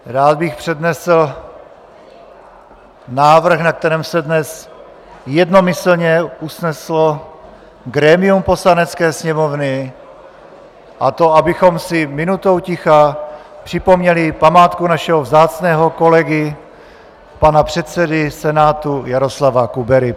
Rád bych přednesl návrh, na kterém se dnes jednomyslně usneslo grémium Poslanecké sněmovny, a to, abychom si minutou ticha připomněli památku našeho vzácného kolegy, pana předsedy Senátu, Jaroslava Kubery.